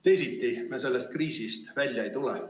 Teisiti me sellest kriisist välja ei tule.